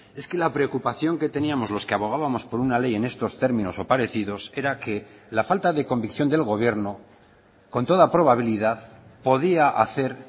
es que la preocupación que teníamos los que abogábamos por una ley en estos términos o parecidos era que la falta de convicción del gobierno con toda probabilidad podía hacer